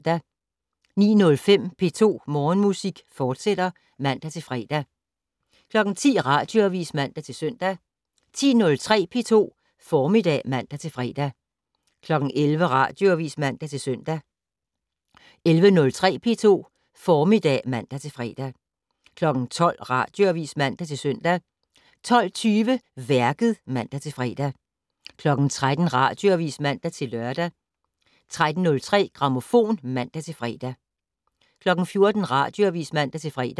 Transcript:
09:05: P2 Morgenmusik, fortsat (man-fre) 10:00: Radioavis (man-søn) 10:03: P2 Formiddag (man-fre) 11:00: Radioavis (man-søn) 11:03: P2 Formiddag (man-fre) 12:00: Radioavis (man-søn) 12:20: Værket (man-fre) 13:00: Radioavis (man-lør) 13:03: Grammofon (man-fre) 14:00: Radioavis (man-fre)